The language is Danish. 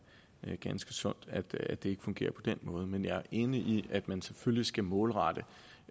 er ganske sundt at det ikke fungerer på den måde men jeg er enig i at man selvfølgelig skal målrette